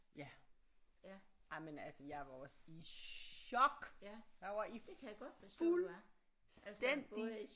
Ja jamen altså jeg var også i chok jeg var i fuldstændig